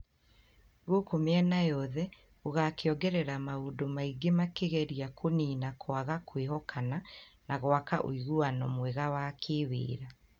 gũkũ mĩena yothe ũgakĩongerera maũndũ mangĩ makĩgeria kũniina kwaga kwĩhokana na gwaka ũiguano mwega wa kĩwĩra.